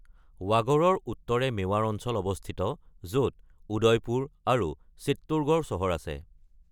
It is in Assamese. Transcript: বাগডৰ উত্তৰে মেৱাৰ অঞ্চল অৱস্থিত, য’ত উদয়পুৰ আৰু চিত্তোৰগড় চহৰ আছে।